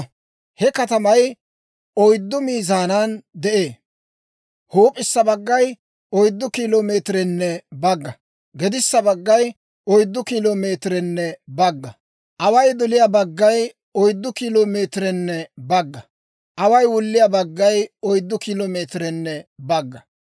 He katamay oyddu miizaanan de'ee. Huup'issa baggay 4 kilo meetirenne bagga; gedissa baggay 4 kilo meetirenne bagga; away doliyaa baggay 4 kilo meetirenne bagga; away wulliyaa baggaykka 4 kilo meetirenne bagga.